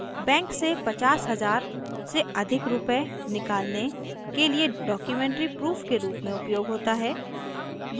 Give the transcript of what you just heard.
bank से 50000 से अधिक रुपये निकालने के लिए documentary proof के rs में उपयोग होता है